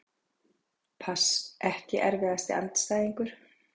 pass Ekki erfiðasti andstæðingur?